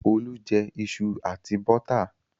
Olú jẹ iṣu àti bọ́tà.